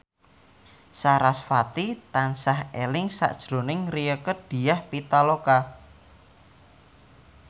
sarasvati tansah eling sakjroning Rieke Diah Pitaloka